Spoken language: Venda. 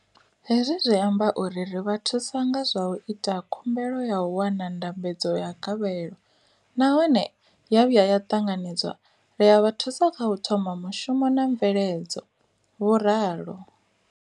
Hezwi zwi amba uri ri vha thusa nga zwa u ita khumbelo ya u wana ndambedzo ya gavhelo nahone ya vhuya ya ṱanganedzwa, ri a vha thusa kha u thoma mushumo na mveledzo, vho ralo.